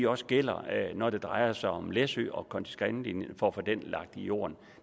også gælder når det drejer sig om læsø og konti skan linjen og om at få den lagt i jorden